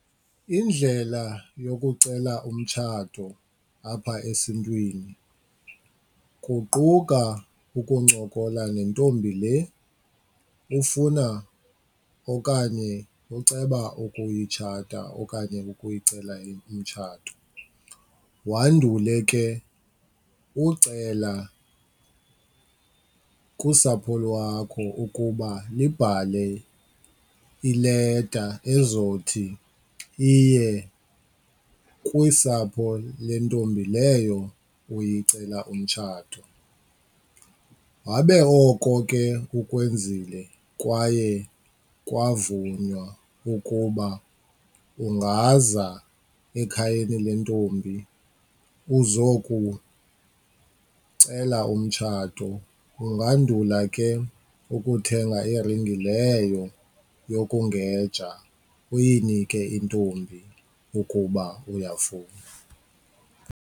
Indlela yokucela umtshato apha esiNtwini kuquka ukuncokola neentombi le ufuna okanye oceba ukuyitshata okanye ukuyicela umtshato, wandule ke ucela kusapho lwakho ukuba lubhale ileta ezothi iye kusapho lentombi leyo uyicela umtshato. Wabe oko ke ukwenzile kwaye kwavunywa ukuba ungaza ekhayeni lentombi uzokucela umtshato, ungandula ke ukuthenga iringi leyo yokungeja uyinike intombi ukuba uyafuna.